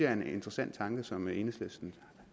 er en interessant tanke som enhedslisten